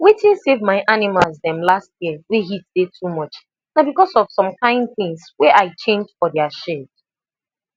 wetin save my animals dem last year wey heat dey too much na because of some kind things wey i change for their shade